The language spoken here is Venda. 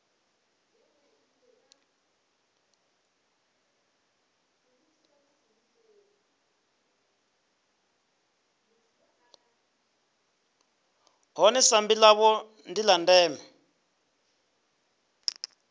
ḽone sambi ḽavho ḽa ndeme